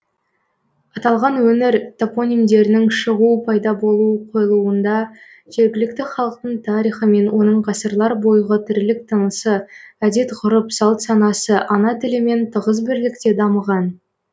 аталған өңір топонимдерінің шығу пайда болу қойылуында жергілікті халықтың тарихы мен оның ғасырлар бойғы тірлік тынысы әдет ғұрып салт санасы ана тілімен тығыз бірлікте дамыған